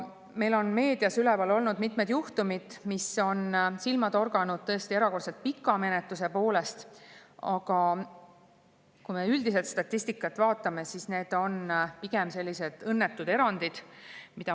Meil on meedias üleval olnud mitmed juhtumid, mis on silma torganud tõesti erakordselt pika menetluse poolest, aga kui me üldist statistikat vaatame, siis need on pigem õnnetud erandid.